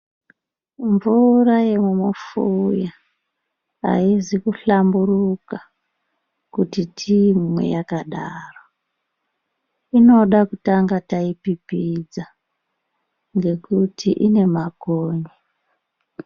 Mvura yemumufuya haizi kuhlamburuka kuti tiimwe yakadaro inoda kutanga taipipidza ngokuti ine makonye.